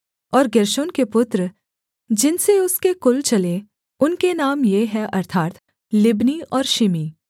और गेर्शोन के पुत्र जिनसे उसके कुल चले उनके नाम ये हैं अर्थात् लिब्नी और शिमी